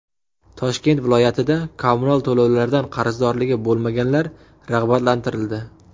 Toshkent viloyatida kommunal to‘lovlardan qarzdorligi bo‘lmaganlar rag‘batlantirildi.